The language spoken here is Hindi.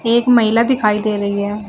एक महिला दिखाई दे रही है।